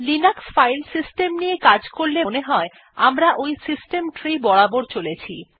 Linux file system নিয়ে কাজ করলে মনে হয় যে আমরা ওই সিস্টেম ট্রি বরাবর চলছি